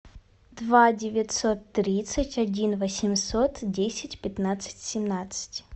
два девятьсот тридцать один восемьсот десять пятнадцать семнадцать